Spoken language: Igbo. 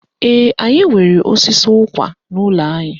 Ee, anyị nwere osisi ụkwa n'ụlọ anyị